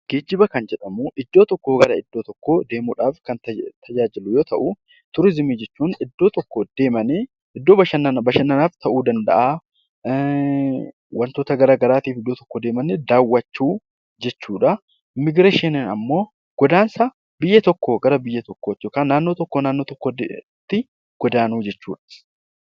Geejjiba kan jedhamu iddoo tokkoo gara iddoo biraa deemuuf kan tajaajilu yoo ta'u, turizimii jechuun iddoo tokko deemanii bashannanaaf ta'uu danda'a wantoota garaagaraatiif iddoo tokko deemanii daawwachuu jechuudha. Immiigireeshiniin immoo godaansa biyya tokkoo gara biraatti taasifamudha